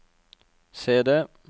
CD